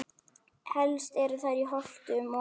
Helst eru þær í Holtum og